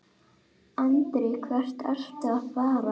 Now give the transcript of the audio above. Andri: Hvert ertu að fara?